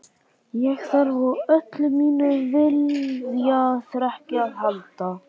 Ég þarf á öllu mínu viljaþreki að halda.